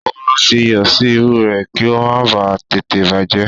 Ó máa ń fi iyọ̀ sí irú rẹ̀ kí ó má ba à tètè bàjẹ́